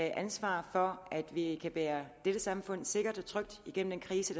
ansvaret for at vi kan bære dette samfund sikkert og trygt igennem den krise